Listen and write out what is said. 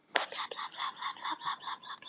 Orðið naut er hvorugkyns í málvitundinni.